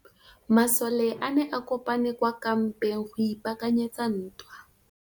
Masole a ne a kopane kwa kampeng go ipaakanyetsa ntwa.